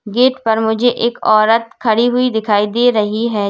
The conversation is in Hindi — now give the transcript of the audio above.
गेट पर मुझे एक औरत खड़ी हुई दिखाई दे रही है।